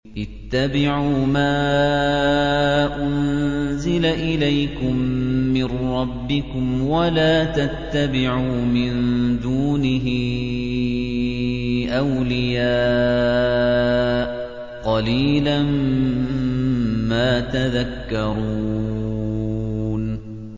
اتَّبِعُوا مَا أُنزِلَ إِلَيْكُم مِّن رَّبِّكُمْ وَلَا تَتَّبِعُوا مِن دُونِهِ أَوْلِيَاءَ ۗ قَلِيلًا مَّا تَذَكَّرُونَ